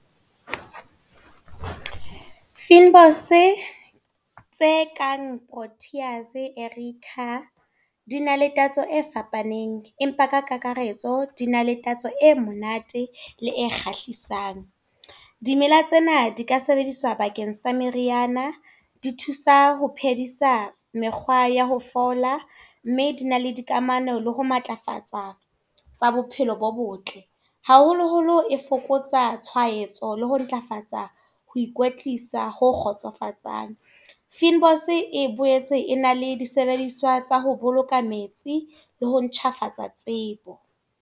Fynbos tse kang Proteas, Erica, di na le tatso e fapaneng. Empa ka kakaretso di na le tatso e monate, le e kgahlisang. Dimela tsena di ka sebediswa bakeng sa meriana, di thusa ho phedisa mekgwa ya ho fola. Mme di na le dikamano le ho matlafatsa tsa bophelo bo botle. Haholo holo e fokotsa tshwaetso le ho ntlafatsa ho ikwetlisa ho kgotsofatsang. Fynbos e boetse e na le disebediswa tsa ho boloka metsi, le ho ntjhafatsa tsebo.